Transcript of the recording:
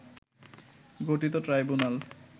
গঠিত ট্রাইব্যুনাল